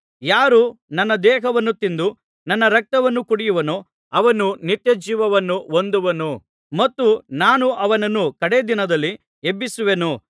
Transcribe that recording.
ಯಾರು ನನ್ನ ದೇಹವನ್ನು ತಿಂದು ನನ್ನ ರಕ್ತವನ್ನು ಕುಡಿಯುವನೋ ಅವನು ನಿತ್ಯ ಜೀವವನ್ನು ಹೊಂದುವನು ಮತ್ತು ನಾನು ಅವನನ್ನು ಕಡೆ ದಿನದಲ್ಲಿ ಎಬ್ಬಿಸುವೆನು